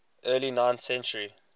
early ninth century